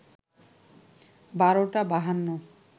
১২টা ৫২